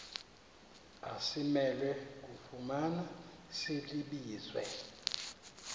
asimelwe kufumana silibize